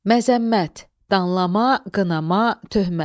Məzəmmət – danlama, qınama, töhmət.